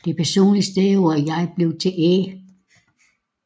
Det personlige stedord jeg blev til æ